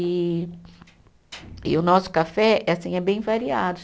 E e o nosso café é assim, é bem variado.